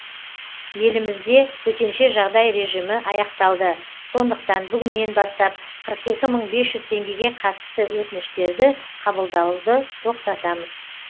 елімізде төтенше жағдай режимі аяқталды сондықтан бүгіннен бастап қырық екі мың бес жүз теңгеге қатысты өтініштерді қабылдауды тоқтатамыз